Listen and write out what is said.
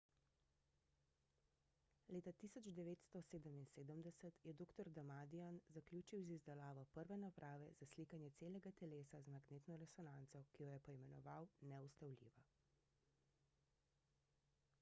leta 1977 je dr. damadian zaključil z izdelavo prve naprave za slikanje celega telesa z magnetno resonanco ki jo je poimenoval »neustavljiva«